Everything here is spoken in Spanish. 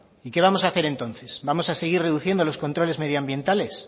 y qué vamos hacer entonces vamos a seguir reduciendo los controles medioambientales